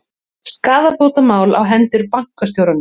Skaðabótamál á hendur bankastjórum